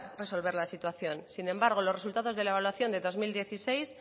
resolver la situación sin embargo los resultados de la evaluación del dos mil dieciséis